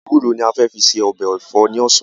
Ewúro ni a fẹ fi se ọbẹ̀ ẹ̀fọ́ ni ọ̀sán